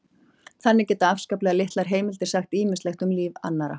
þannig geta afskaplega litlar heimildir sagt ýmislegt um líf annarra